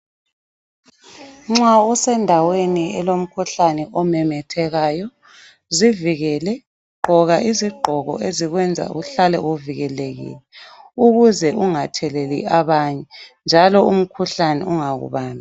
Nxa usendaweni elomkhuhlane omemethekayo zivikele ,gqoka izigqoko ezikwenza uhlale uvikelekile ukuze ungatheleli abanye njalo umkhuhlane ungakubambi.